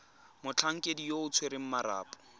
motlhankedi yo o tshwereng marapo